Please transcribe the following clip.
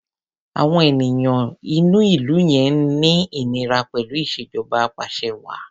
Àwọn èèyàn inú ìlú yẹn ń ní ìníra pẹ̀lú ìṣèjọba apàṣẹwàá.